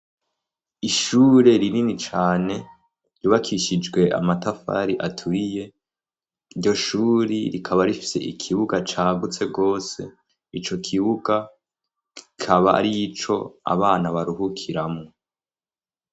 Ishure rinini cane ribakishijwe amatafari aturiye ryo shuri rikaba rifise ikibuga cagutse rwose ico kibuga ikaba ari ico abana baruhukiramwo.